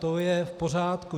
To je v pořádku.